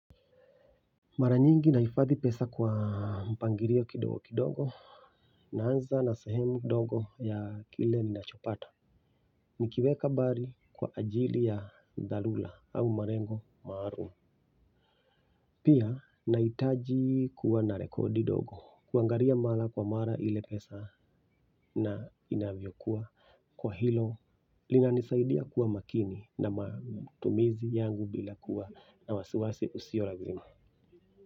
Mara nyingi nahifathi pesa kwa mpangilio kidogo kidogo naanza na sahemu ndogo ya kile ninachopata. Nikiweka bali kwa ajili ya dharura au malengo maalum pia nahitaji kuwa na rekodi ndogo kuangalia mara kwa mara ile pesa na inavyokuwa kwa hilo linanisaidia kuwa makini na matumizi yangu bila kuwa na wasiwasi sio lazima.